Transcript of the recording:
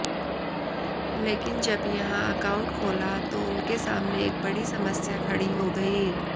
लेकिन जब यहां अकाउंट खोला तो उनके सामने एक बड़ी समस्या खड़ी हो गई